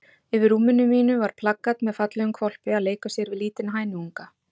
Yfir rúminu mínu var plakat með fallegum hvolpi að leika sér við lítinn hænuunga.